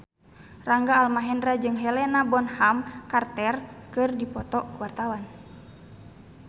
Rangga Almahendra jeung Helena Bonham Carter keur dipoto ku wartawan